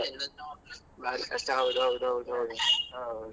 ಎಲ್ಲ ಹಾಳಾಗ್ತದಂಥಾ ಹಾಗೆ ಆದ್ರೆ.